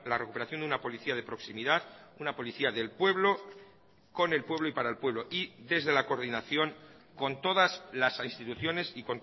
recuperación de una policía de proximidad una policía del pueblo con el pueblo y para el pueblo y desde la coordinación con todas las instituciones y